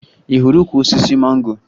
Ị hụrụ ukwu osisi mango?